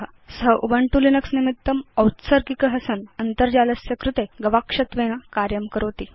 असौ Ubuntu Linux निमित्तम् औत्सर्गिक जालगवेषक अस्ति अन्तर्जालस्य कृते च गवाक्षरूपेण कार्यं करोति